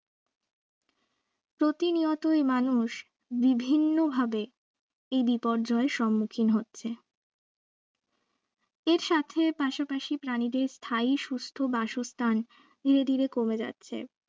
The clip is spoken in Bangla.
প্রতিনিয়তই মানুষ বিভিন্নভাবে এই বিপর্যয় সম্মুখীন হচ্ছে এর সাথে পাশাপাশি প্রাণীদের স্থায়ী সুস্থ বাসস্থান ধীরে ধীরে কমে যাচ্ছে